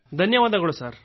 ಧನ್ಯವಾದಗಳು ಸೋದರ